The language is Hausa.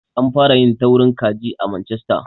An fara yin taurin kaji a Manchester.